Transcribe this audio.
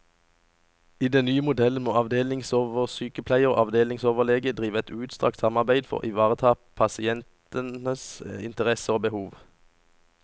I den nye modellen må avdelingsoversykepleier og avdelingsoverlege drive et utstrakt samarbeide for å ivareta pasienters interesser og behov.